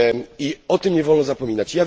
I o tym nie wolno zapominać.